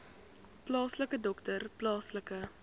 plaaslike dokter plaaslike